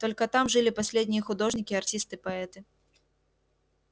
только там жили последние художники артисты поэты